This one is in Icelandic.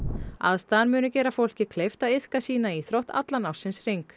aðstaðan muni gera fólki kleift að iðka sína íþrótt allan ársins hring